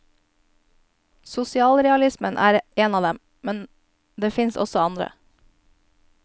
Sosialrealismen er en av dem, det finnes også andre.